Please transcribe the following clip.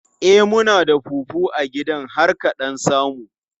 E, muna da fufu a gidan har ka ɗan samu.